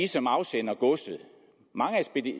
som afsender godset mange af